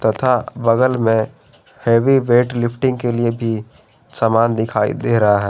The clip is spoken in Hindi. तथा बगल में हैवी वेट लिफ्टिंग के लिए भी सामान दिखाई दे रहा हैं।